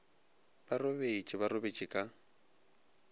ba robetše ba robetše ka